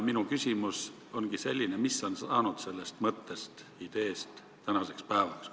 Minu küsimus ongi selline: mis on saanud sellest mõttest, ideest tänaseks päevaks?